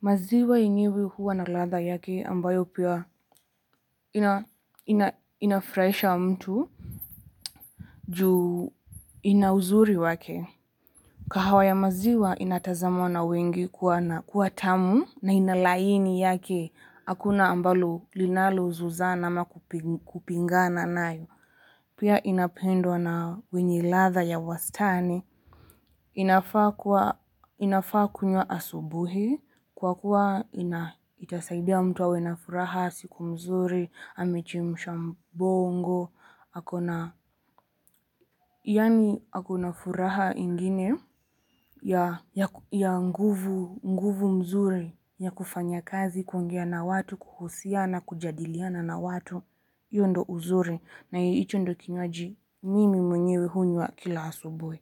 Maziwa yenyewe huwa na ladha yake ambayo pia ina inafurahisha mtu juu inauzuri wake kahawa ya maziwa inatazamwa na wengi kuwa tamu na inalaini yake hakuna ambalo linalozozana ama kupingana nayo pia inapendwa na wenye ladha ya wastani inafaa inafaa kunywa asubuhi kwa kuwa itasaidia mtu awe na furaha siku mzuri, amechemsha mbongo, ako na, yaani ako na furaha ingine ya nguvu mzuri ya kufanya kazi kuongea na watu, kuhusiana kujadiliana na watu, hiyo ndio uzuri na hicho ndio kinywaji mimi mwenyewe hunywa kila asubuhi.